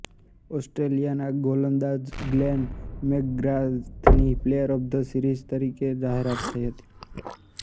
ઓસ્ટ્રેલિયાના ગોલંદાજ ગ્લેન મેકગ્રાથની પ્લેયર ઓફ ધ સિરીઝ તરીકે જાહેરાત થઇ હતી